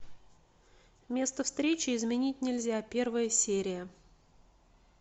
место встречи изменить нельзя первая серия